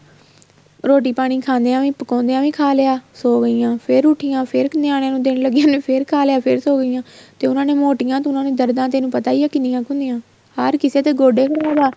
ਰੋਟੀ ਪਾਣੀ ਖਾਂਦਿਆ ਪ੍ਕੋਦਿਆ ਵੀ ਖਾ ਲਿਆ ਸੋ ਗਈਆਂ ਫ਼ੇਰ ਉੱਠੀਆਂ ਫ਼ੇਰ ਨਿਆਣਿਆਂ ਨੂੰ ਦੇਣ ਲੱਗਈਆਂ ਮਤਲਬ ਫ਼ੇਰ ਖਾ ਲਿਆ ਫ਼ੇਰ ਸੋ ਗਈਆਂ ਤੇ ਉਹਨਾ ਨੇ ਮੋਟੀਆਂ ਤੂੰ ਉਹਨਾ ਦੀਆ ਦਰਦਾ ਤੈਨੂੰ ਪਤਾ ਹੀ ਆ ਕਿੰਨੀਆਂ ਕ਼ ਹੁੰਦੀਆਂ ਹਰ ਕਿਸੇ ਦੇ ਗੋਡੇ ਖ਼ਰਾਬ ਆ